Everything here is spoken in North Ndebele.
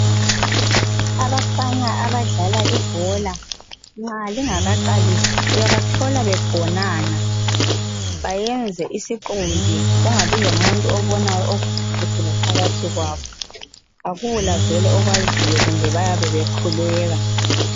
Abafana abadlala ibhola, nxa lingakaqalisi uyabathola begonana, bayenze isiqumbi kungabilomuntu obonayo okuphakathi laphakathi kwabo. Akula okwaziyo kumbe bayabe bekhuleka.